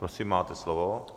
Prosím, máte slovo.